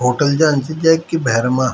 होटल जन च जैक की भैरमा --